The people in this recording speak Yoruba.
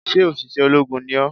Sé òṣìṣẹ́ ológun ni ó?